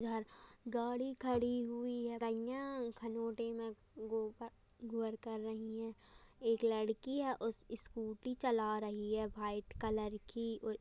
गाड़ी खड़ी हुई हैं गइयाँ गोबर गोवर कर रही हैं एक लड़की है उस स्कूटी चला रही है व्हाइट कलर की और --